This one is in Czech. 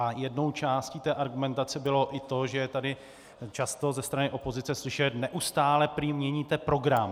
A jednou částí té argumentace bylo i to, že je tady často ze strany opozice slyšet: neustále měníte program.